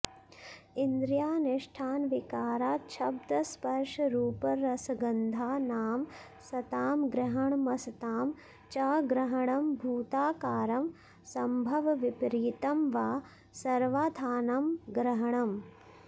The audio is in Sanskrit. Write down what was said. इन्द्रियाधिष्ठानविकाराच्छब्दस्पर्शरूपरसगन्धानां सतामग्रहणमसतां च ग्रहणमभूताकारं सम्भवविपरीतं वा सर्वार्थानां ग्रहणम्